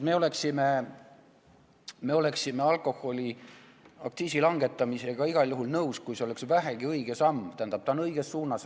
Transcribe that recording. Me oleksime alkoholiaktsiisi langetamisega igal juhul nõus, kui see oleks vähegi õige samm õiges suunas.